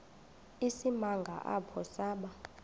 isimanga apho saba